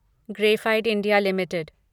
graphite India limited